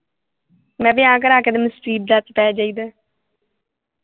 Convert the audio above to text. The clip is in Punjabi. ਮੈਂ ਵਿਆਹ ਕਰਾ ਕੇ ਤੇ ਮੁਸੀਬਤਾਂ ਚ ਪੈ ਜਾਈਦਾ